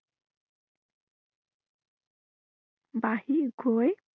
বাঢ়ি গৈ